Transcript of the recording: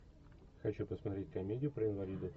хочу посмотреть комедию про инвалидов